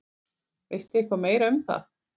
Veistu eitthvað meira um það?